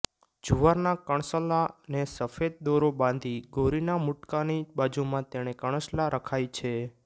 જુવારના કણસલા ને સફેદ દોરો બાંધી ગૌરીના મુટકાની બાજુમાં તે કણસલા રખાય છે